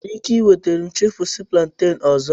Ị nwere ike nweta m chipúsí plantain ọzọ